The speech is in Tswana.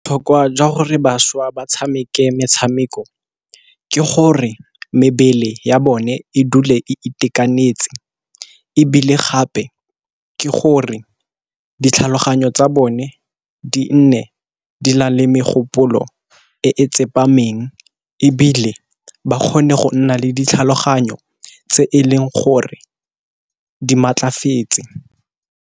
Botlhokwa jwa gore bašwa ba tshameke metshameko ke gore mebele ya bone e dule e itekanetse, ebile gape ke gore ditlhaloganyo tsa bone di nne di na le megopolo e tsepameng. Ebile ba kgone go nna le ditlhaloganyo tse e leng gore di maatlafetse.